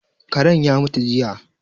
Karen ya mutu jiya